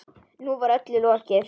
Nú var öllu lokið.